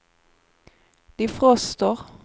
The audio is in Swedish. defroster